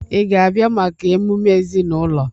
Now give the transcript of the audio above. Ị ga-abịa maka emume ezinụlọ?